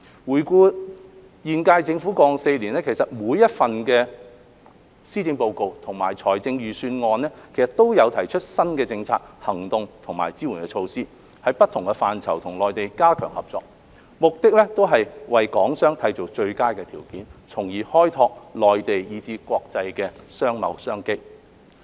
回顧現屆政府於過往4年每一份的施政報告及財政預算案中，都有提出新的政策、行動和支援措施，在不同範疇與內地加強合作，目的都是為港商締造最佳的條件，從而開拓內地以至國際的商貿商機。